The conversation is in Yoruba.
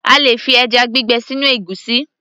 A lè fi ẹjá gbígbẹ sínú ègúsí